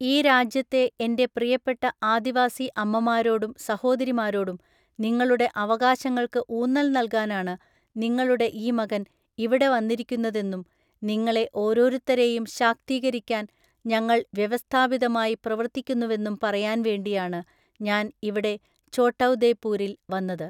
ഈ രാജ്യത്തെ എന്റെ പ്രിയപ്പെട്ട ആദിവാസി അമ്മമാരോടും സഹോദരിമാരോടും നിങ്ങളുടെ അവകാശങ്ങൾക്ക് ഊന്നൽ നല്കാനാണ് നിങ്ങളുടെ ഈ മകൻ ഇവിടെ വന്നിരിക്കുന്നതെന്നും നിങ്ങളെ ഓരോരുത്തരെയും ശാക്തീകരിക്കാൻ ഞങ്ങൾ വ്യവസ്ഥാപിതമായി പ്രവർത്തിക്കുന്നുവെന്നും പറയാൻ വേണ്ടിയാണ് ഞാന് ഇവിടെ ഛോട്ടൗദെപൂരിൽ വന്നത്.